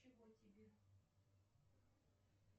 чего тебе